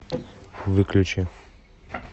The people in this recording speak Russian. выключи